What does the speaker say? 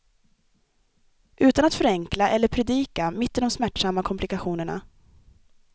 Utan att förenkla eller predika, mitt i de smärtsamma komplikationerna.